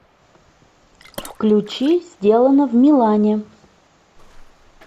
включи сделано в милане